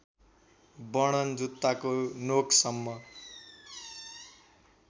वर्णन जुत्ताको नोकसम्म